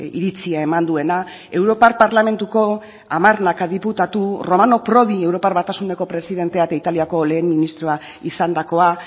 iritzia eman duena europar parlamentuko hamarnaka diputatu romano prodi europar batasuneko presidentea eta italiako lehen ministroa izandakoa